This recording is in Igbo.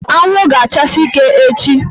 Anwụ ga-achasi ike echi